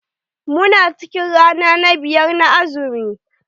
Mu na cikin rana na biyar na azumi.